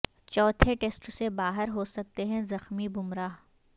چوتھے ٹیسٹ سے باہر ہو سکتے ہیں زخمی بمراہ